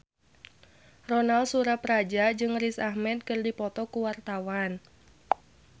Ronal Surapradja jeung Riz Ahmed keur dipoto ku wartawan